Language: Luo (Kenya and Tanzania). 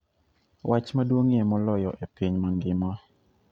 wach maduong'ie moloyo e piny mangima